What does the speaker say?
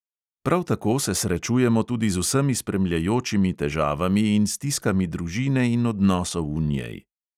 Prav tako se srečujemo tudi z vsemi spremljajočimi težavami in stiskami družine in odnosov v njej.